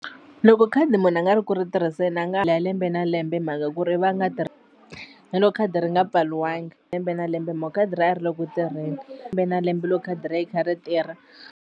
Loko khadi munhu a nga ri ku ri tirhiseni a nga lembe na lembe hi mhaka ku ri va nga na loko khadi ri nga pfariwanga lembe na lembe hi mhaku khadi ra yena a ri le ku tirheni lembe na lembe loko khadi ra yi kha ri tirha.